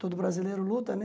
Todo brasileiro luta, né?